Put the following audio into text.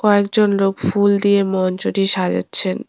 কয়েকজন লোক ফুল দিয়ে মঞ্চটি সাজাচ্ছেন।